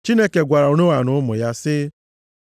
Chineke gwara Noa na ụmụ ya sị,